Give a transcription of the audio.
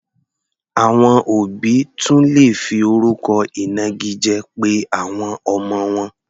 Àwọn òbí tún lè fi orúkọ ìnagijẹ pe àwọn ọmọ wọn.